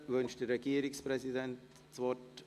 Wünscht der Regierungspräsident das Wort?